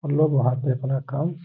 हम लोग वहाँ पे अपना काम --